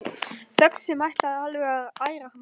Þögn sem ætlaði alveg að æra mann.